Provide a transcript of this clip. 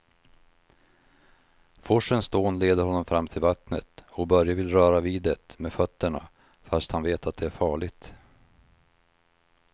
Forsens dån leder honom fram till vattnet och Börje vill röra vid det med fötterna, fast han vet att det är farligt.